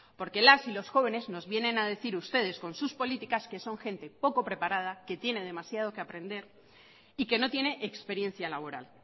porque las y los jóvenes nos vienen a decir ustedes con sus políticas que son gente poco preparada que tiene demasiado que aprender y que no tiene experiencia laboral